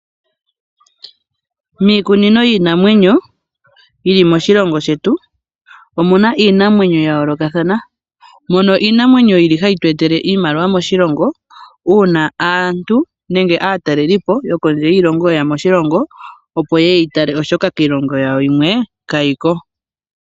Miikunino yiinamwenyo yi li moshilongo shetu omu na iinamwenyo ya yoolokathana, mono iinamwenyo yi li hayi tu etele iimaliwa moshilongo uuna aantu nenge aatalelipo yokondje yiilongo ye ya moshilongo opo ye yi tale ,oshoka kiilongo yawo yimwe kayi ko.